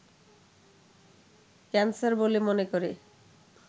cancer বলে মনে করে